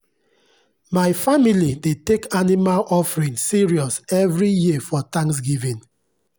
my family dey take animal offering serious every year for thanksgiving.